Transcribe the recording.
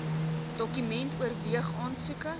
department oorweeg aansoeke